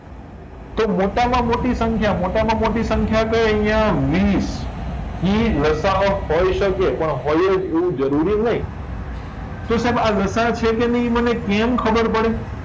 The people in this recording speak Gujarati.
તો મોટામાં મોટી સંખ્યા મોટામાં મોટી સંખ્યા કય આયા વીસ ઇ લસાઅ હોય શકે પણ હોય એવું જરૂરી નય તો સાઈબ આ લસાઅ છે કે નય એ મને કેમ ખબર પડે